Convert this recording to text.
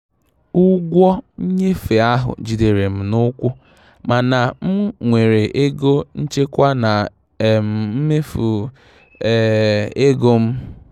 Ụgwọ nnyefe ahụ jidere m n'ụkwụ, mana m nwere ego nchekwa na um mmefu um ego m.